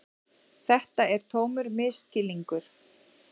Þetta er tómur misskilningur.